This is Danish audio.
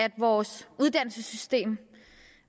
i vores uddannelsessystem